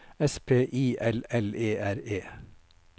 S P I L L E R E